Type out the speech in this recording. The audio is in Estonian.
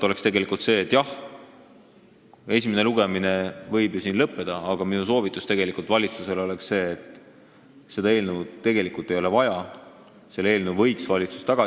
Esimene lugemine võib siin ju lõppeda, aga minu soovitus valitsusele on eelnõu tagasi võtta, sest seda eelnõu ei ole tegelikult vaja.